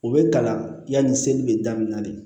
U bɛ kalan yanni seli bɛ daminɛ de